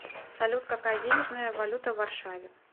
салют какая денежная валюта в варшаве